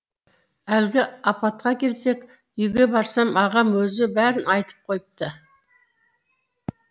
әлгі апатқа келсек үйге барсам ағам өзі бәрін айтып қойыпты